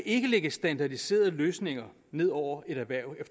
ikke lægge standardiserede løsninger ned over et erhverv